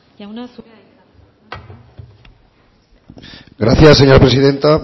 jauna zurea da hitza gracias señora presidenta